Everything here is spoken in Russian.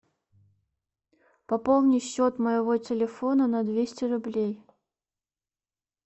пополни счет моего телефона на двести рублей